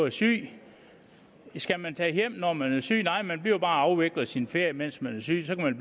er syg skal man tage hjem når man er syg nej man bliver bare og afvikler sin ferie mens man er syg så kan